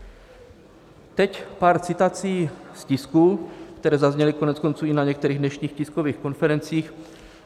Teď pár citací z tisku, které zazněly koneckonců i na některých dnešních tiskových konferencích.